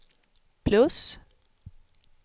plus